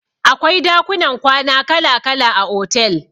Akwai dakunan kwana kala kala a otel.